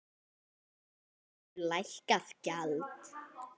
Er á vöru lækkað gjald.